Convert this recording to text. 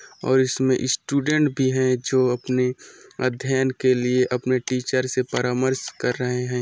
और इसमें स्टूडेंट भी है जो अपने अध्यन के लिए अपने टीचर से परामर्श कर रहे है।